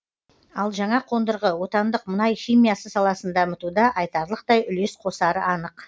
ал жаңа қондырғы отандық мұнай химиясы саласын дамытуда айтарлықтай үлес қосары анық